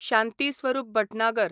Shanti Swarup Bhatnagar